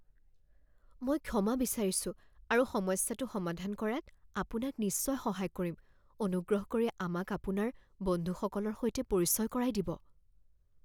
মই ক্ষমা বিচাৰিছো আৰু সমস্যাটো সমাধান কৰাত আপোনাক নিশ্চয় সহায় কৰিম। অনুগ্ৰহ কৰি আমাক আপোনাৰ বন্ধুসকলৰ সৈতে পৰিচয় কৰাই দিব